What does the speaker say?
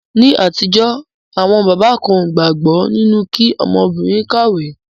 Ní àtijọ́, àwọn bàbá kan ó gbàgbọ́ nínu kí ọmọbìrin kàwé.